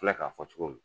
filɛ k'a fɔ cogo min